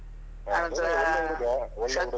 ಅವ್ನು ಒಳ್ಳೆ ಹುಡುಗ ಒಳ್ಳೆ ಹುಡುಗ.